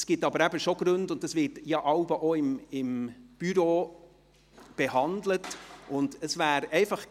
Es gibt aber schon Gründe, und das Büro behandelt dies jeweils auch.